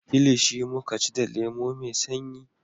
Kilishi muka ci da lemo mai sanyi